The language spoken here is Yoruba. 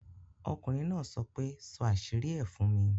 Okùnrin náà sọ pé, ' sọ àṣírí ẹ fún mi'